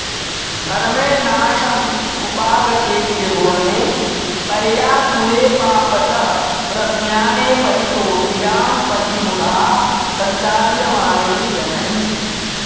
धर्मे नाशमुपागते त्रिभुवने पर्याकुले पापतः प्रज्ञाने परितो गिरां पथि मुधा सञ्चार्यमाणे जनैः